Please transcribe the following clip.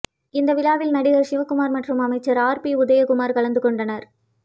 இந்த விழாவில் நடிகர் சிவக்குமார் மற்றும் அமைச்சர் ஆர் பி உதயகுமார் கலந்து கொண்டனர்